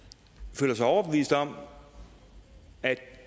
føler sig overbevist om at